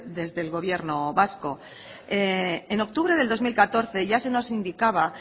desde el gobierno vasco en octubre del dos mil catorce ya se nos indicaba